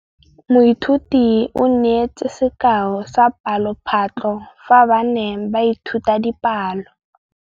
Moithuti o neetse sekaô sa palophatlo fa ba ne ba ithuta dipalo.